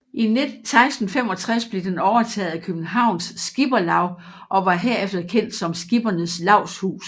I 1665 blev den overtaget af Københavns Skipperlav og var herefter kendt som Skippernes Lavshus